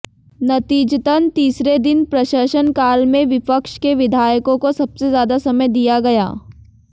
नतीजतन तीसरे दिन प्रशनकाल में विपक्ष के विधायकों को सबसे ज्यादा समय दिया गया